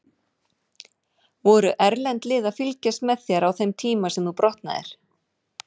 Voru erlend lið að fylgjast með þér á þeim tíma sem þú brotnaðir?